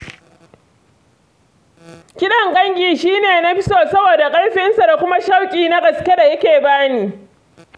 Kiɗan gangi shi ne na fi so saboda ƙarfinsa da kuma shauƙi na gaske da yake bani.